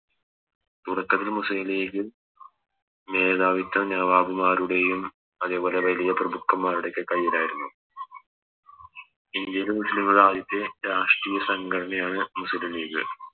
തുടക്കത്തിൽ മുസ്ലിം ലീഗ് മേധാവിത്ത നവാബ് മാരുടെയും അതെ പോലെ വലിയ പ്രഭുക്കൻമ്മാരുടെ ഒക്കെ കൈയിലായിരുന്നു ഇന്ത്യയിൽ മുസ്ലിങ്ങള് ആദ്യത്തെ രാഷ്ട്രീയ സങ്കടനയാണ് മുസ്ലിം ലീഗ്